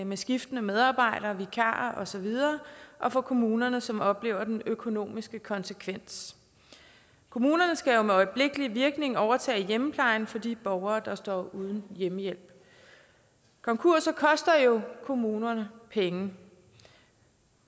med skiftende medarbejdere vikarer osv og for kommunerne som oplever den økonomiske konsekvens kommunerne skal jo med øjeblikkelig virkning overtage hjemmeplejen for de borgere der står uden hjemmehjælp konkurser koster jo kommunerne penge